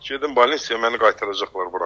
Gedim balnisya, məni qaytaracaqlar bura.